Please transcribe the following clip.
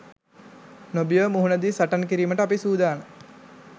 නොබියව මුහුණදී සටන් කිරීමට අපි සුදානම්